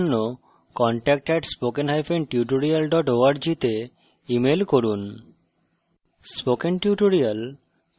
এই বিষয়ে বিস্তারিত তথ্যের জন্য contact @spokentutorial org তে ইমেল করুন